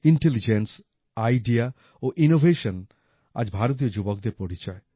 intelligence IDEA ও innovation আজ ভারতীয় যুবকদের পরিচয়